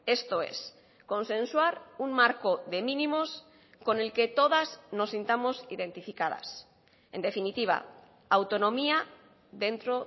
esto es consensuar un marco de mínimos con el que todas nos sintamos identificadas en definitiva autonomía dentro